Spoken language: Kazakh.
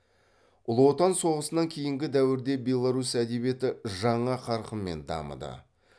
ұлы отан соғысынан кейінгі дәуірде беларусь әдебиеті жаңа қарқынмен дамыды